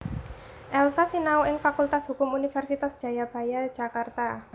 Elza sinau ing Fakultas Hukum Universitas Jayabaya Jakarta